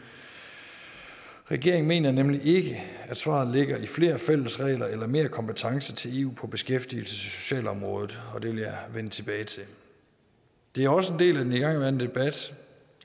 regeringen mener nemlig ikke at svaret er flere fælles regler eller mere kompetence til eu på beskæftigelses og socialområdet og det vil jeg vende tilbage til det er også en del af den igangværende debat